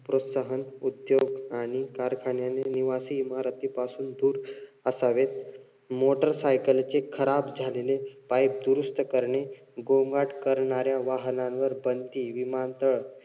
प्रोत्साहन देऊन आणि कारखान्याने निवासी इमारतीपासून दूर असावे. motorcycle चे खराब झालेले pipe दुरुस्त करणे. गोंगाट करणाऱ्या वाहनांवर बंदी, विमानतळ,